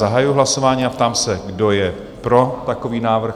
Zahajuji hlasování a ptám se, kdo je pro takový návrh?